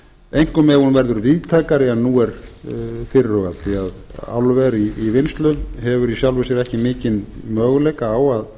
einkum ef hún verður víðtækari en nú er fyrirhugað því álver í vinnslu hefur í sjálfu sér ekki mikinn möguleika á